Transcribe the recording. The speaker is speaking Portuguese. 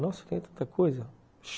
Nossa, eu tenho tanta coisa.